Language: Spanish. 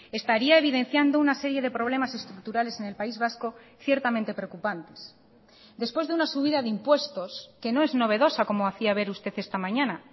estaría evidenciando una serie de problemas estructurales en el país vasco ciertamente preocupantes después de una subida de impuestos que no es novedosa como hacía ver usted esta mañana